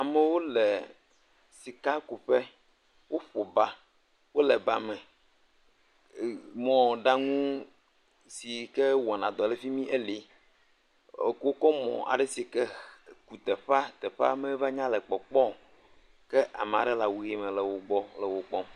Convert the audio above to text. wóle sika kuƒe wó ƒoba wóle ba me mɔɖaŋu sike wɔna dɔ le fimi eli, wokò wó kɔ mɔ ale sike teƒea teƒea meva nya le kpɔkpɔ o maɖe la wuyi me le wó kpɔm